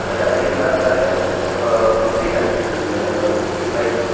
అతని కింద తెల్లని ఆ మిక్సీ కనిపిస్తున్నది దాని పైన--